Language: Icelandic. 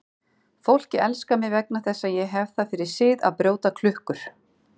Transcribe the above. Fólkið elskar mig vegna þess að ég hef það fyrir sið að brjóta klukkur.